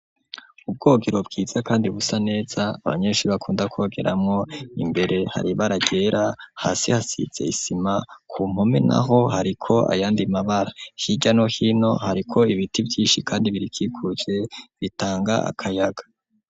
Ubwogero bwiza kandi busa neza abanyeshure bakunda kwogerwamo imbere hari baragera hasi hasitse isima ku mpome naho hariko ayandi mabara hirya no hino hariko ibiti vyinshi kandi biri kikuje bitanga akayaga.